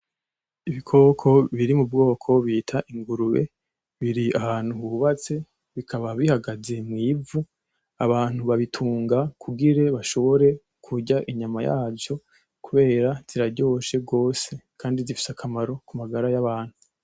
Ibikoko biri mu bwoko bita ingurube, biri ahantu hubatse, bikaba bihagaze mw'ivu, abantu babitunga kugira bashobore kurya inyama yavyo, kubera ziraryoshe gose kandi zifise akamaro ku magara y'abantu.